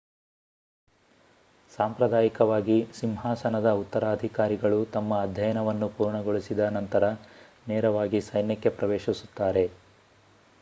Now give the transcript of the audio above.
ಸಾಂಪ್ರದಾಯಿಕವಾಗಿ ಸಿಂಹಾಸನದ ಉತ್ತರಾಧಿಕಾರಿಗಳು ತಮ್ಮ ಅಧ್ಯಯನವನ್ನು ಪೂರ್ಣಗೊಳಿಸಿದ ನಂತರ ನೇರವಾಗಿ ಸೈನ್ಯಕ್ಕೆ ಪ್ರವೇಶಿಸುತ್ತಾರೆ